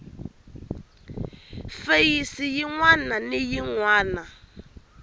feyisi yin wana na yin